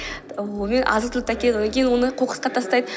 азық түлікті әкелгеннен кейін оны қоқысқа тастайды